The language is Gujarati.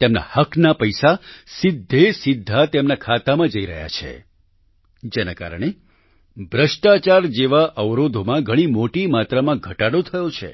તેમના હકના પૈસા સીધાસીધા તેમના ખાતામાં જઈ રહ્યા છે જેના કારણે ભ્રષ્ટાચાર જેવા અવરોધોમાં ઘણો મોટી માત્રામાં ઘટાડો થયો છે